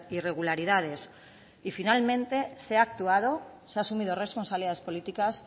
irregularidades y finalmente se ha actuado se ha asumido responsabilidades políticas